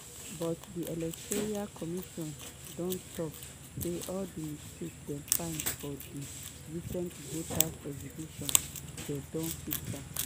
but di electoral commission don tok say all di mistakes dem find for di recent voter exhibition dem don fix am.